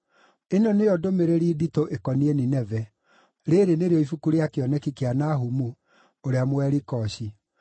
Ĩno nĩyo ndũmĩrĩri nditũ ĩkoniĩ Nineve. Rĩĩrĩ nĩrĩo ibuku rĩa kĩoneki kĩa Nahumu, ũrĩa Mũelikoshi.